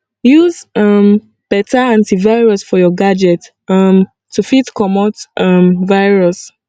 use um better anti virus for your gadget um to fit comot um virus